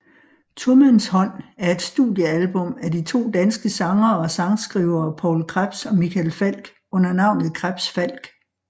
Tomandshånd er et studiealbum af de to danske sangere og sangskrivere Poul Krebs og Michael Falch under navnet KrebsFalch